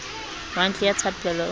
wa ntlo ya thapelo o